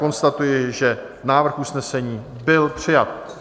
Konstatuji, že návrh usnesení byl přijat.